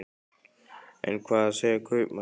En hvað segja kaupmenn?